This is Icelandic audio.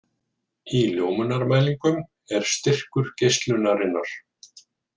Í ljómunarmælingum er styrkur geislunarinnar.